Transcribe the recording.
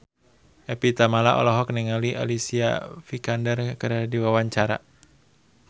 Evie Tamala olohok ningali Alicia Vikander keur diwawancara